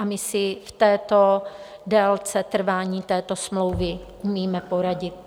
A my si v této délce trvání této smlouvy umíme poradit.